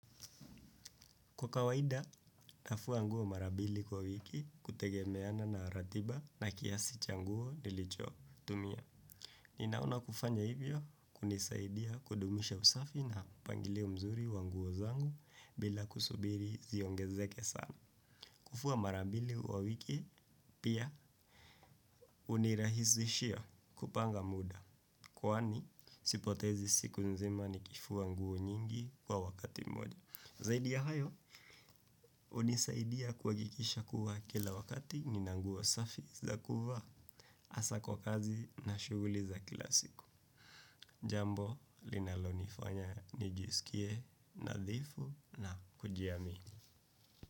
Kwa kawaida, nafua nguo mara mbili kwa wiki kutegemeana na ratiba na kiasi cha nguo nilicho tumia. Ninaona kufanya hivyo kunisaidia kudumisha usafi na mpangilio mzuri wa nguo zangu bila kusubiri ziongezeke sana. Kufua mara mbili kwa wiki, pia hunirahisishia kupanga muda. Kwani, sipotezi siku nzima nikifua nguo nyingi kwa wakati moja. Zaidi ya hayo, hunisaidia kuhakikisha kuwa kila wakati nina nguo safi za kuvaa hasa kwa kazi na shuguli za kila siku. Jambo, linalo nifanya, nijisikie, nadhifu na kujiamini.